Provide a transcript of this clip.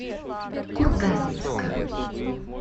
курганинска